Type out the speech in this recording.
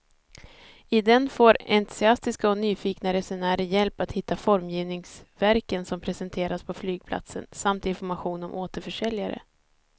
I den får entusiastiska och nyfikna resenärer hjälp att hitta formgivningsverken som presenteras på flygplatsen samt information om återförsäljare.